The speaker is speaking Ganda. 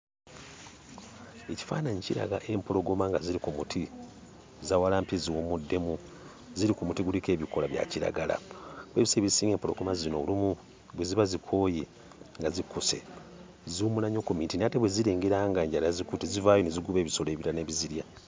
Ekifaananyi kiraga empologoma nga ziri ku muti zaawalampye ziwummuddemu, ziri ku muti guliko ebikoola bya kiragala. Kuba ebiseera ebisinga empologoma zino olumu bwe ziba zikooye nga zikkuse, ziwummula nnyo ku miti naye ate bwe zirengera ng'enjala yazikutte, zivaayo ne zigoba ebisolo ebirala ne bizirya.